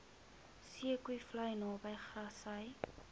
zeekoevlei naby grassy